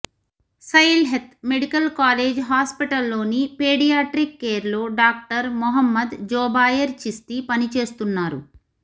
Sylhet medical college హాస్పిటల్లోని paediatric కేర్లో doctor Mohammad Zobayer Chishti పనిచేస్తున్నారు